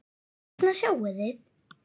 Þarna sjáið þið.